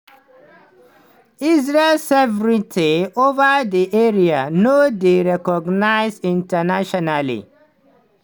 israel sovereignty over di area no dey recognised internationally.